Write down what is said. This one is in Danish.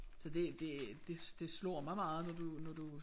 Så det det det det slår mig meget når du når du